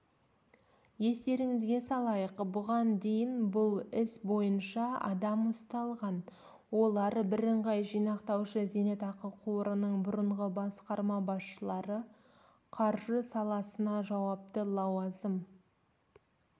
естереңізге салайық бұған дейін бұл іс бойынша адам ұсталған олар біріңғай жинақтаушы зейнетақы қорының бұрынғы басқарма басшылары қаржы саласына жауапты лауазым